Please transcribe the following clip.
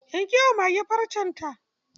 Yanke wa mage farcen ta.